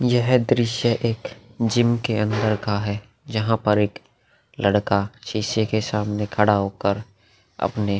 यह दृश्य एक जिम के अंदर का है जहाँ पर एक लड़का शीशे के सामने खड़ा होकर अपने --